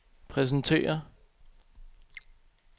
præsenterer